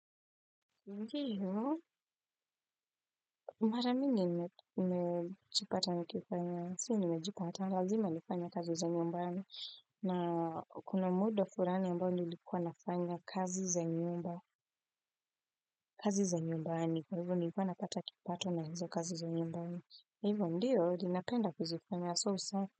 Ndiyo, mara mingi nimejipata nikifanya, si nimejipata, lazima nifanye kazi za nyumbani, na kuna muundo fulani ambao nilikuwa nafanya kazi za nyumba kazi za nyumbani, kwa hivo nilikuwa napata kipato na hizo kazi za nyumbani, kwa hivo ndiyo, ninapenda kuzifanya so sa.